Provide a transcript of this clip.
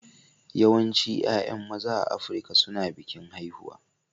Yawancin 'ya'yan maza a Afirka suna bikin haihuwa